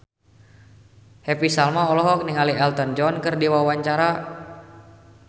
Happy Salma olohok ningali Elton John keur diwawancara